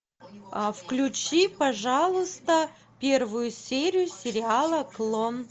а включи пожалуйста первую серию сериала клон